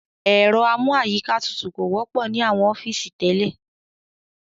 Ẹ̀rọ amú àyíká tutù kò wọ́pọ̀ ní àwọn ọ́fìsì tẹ́lẹ̀.